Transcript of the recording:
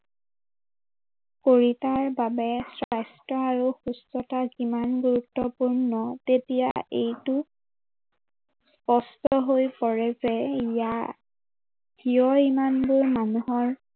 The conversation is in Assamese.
শৰীৰৰ বাবে স্বাস্থ্য় আৰু সুস্থতা কিমান গুৰুত্বপূৰ্ণ, তেতিয়া এইটো প্ৰশ্ন আহি পৰে যে ইয়াৰ কিয় ইমানবোৰ মানুহৰ